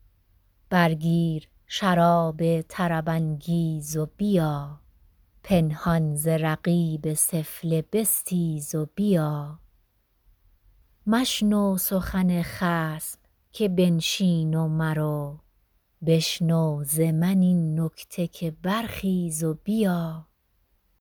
بر گیر شراب طرب انگیز و بیا پنهان ز رقیب سفله بستیز و بیا مشنو سخن خصم که بنشین و مرو بشنو ز من این نکته که برخیز و بیا